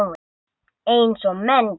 Eins og menn gera.